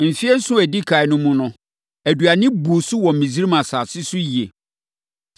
Mfeɛ nson a ɛdi ɛkan no mu no, aduane buu so wɔ Misraim asase so yie.